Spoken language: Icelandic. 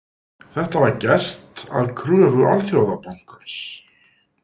Það var gert að kröfu Alþjóðabankans.